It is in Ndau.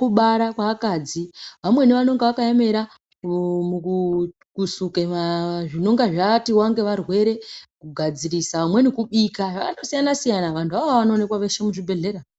kubara kweakadzi. Vamweni vanonga vakaemera kusuke zvinenga zvaatiwa ngevarwere, kugadzirisa, vamweni kubika, zvakandosiyana siyana. Vantu ivavo vanoonekwa veshe muzvibhedhlera.